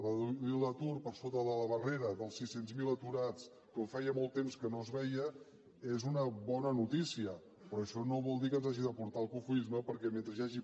reduir l’atur per sota de la barrera dels sis cents miler aturats com feia molt temps que no es veia és una bona notícia però això no vol dir que ens hagi de portar al cofoisme perquè mentre hi hagi